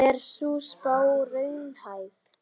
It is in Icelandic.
Er sú spá raunhæf?